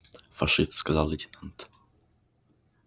фашист сказал лейтенант